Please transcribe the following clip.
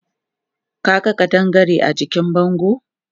Ka ga ƙadangare a jikin bangon?